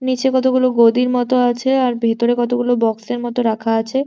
নিচে কতগুলো গদির মতো আছে আর ভেতরে কতগুলো বক্সের মতো রাখা আছে।